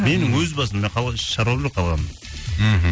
менің өз басым мен қалған шаруам жоқ қалғанында мхм